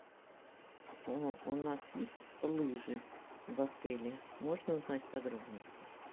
у нас есть лыжи в отеле можно узнать подробности